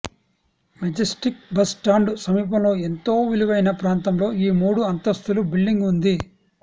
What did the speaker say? Majestic bus stand సమీపంలో ఎంతో విలువైన ప్రాంతంలో ఈ మూడు అంతస్తుల బిల్డింగ్ ఉంది